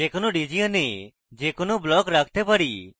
যে কোনো region we যে কোনো block রাখতে পারি